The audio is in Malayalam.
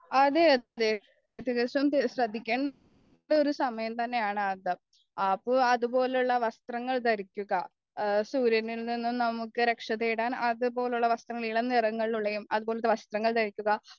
അപ്പോൾ അതുപോലെയുള്ള വസ്ത്രങ്ങൾ ധരിക്കുക സൂര്യനില്നിന്നും നമുക്ക് രക്ഷതേടാൻ അതുപോലെയുള്ള വസ്ത്രങ്ങൾ ഇളം നിറങ്ങളിലുള്ളതും അതുപോലത്തെ വസ്ത്രം ധരിക്കുക